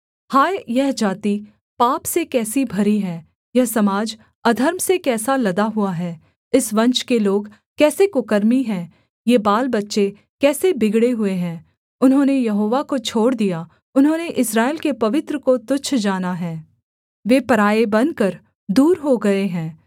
हाय यह जाति पाप से कैसी भरी है यह समाज अधर्म से कैसा लदा हुआ है इस वंश के लोग कैसे कुकर्मी हैं ये बालबच्चे कैसे बिगड़े हुए हैं उन्होंने यहोवा को छोड़ दिया उन्होंने इस्राएल के पवित्र को तुच्छ जाना है वे पराए बनकर दूर हो गए हैं